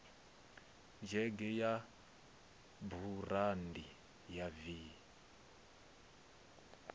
dzhege ya burandi ya v